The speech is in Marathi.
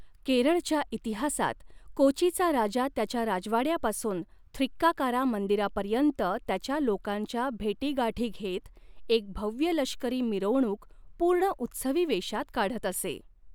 केरळच्या इतिहासात, कोचीचा राजा त्याच्या राजवाड्यापासून थ्रिक्काकारा मंदिरापर्यंत त्याच्या लोकांच्या भेटीगाठी घेत, एक भव्य लष्करी मिरवणूक पूर्ण उत्सवी वेशात काढत असे.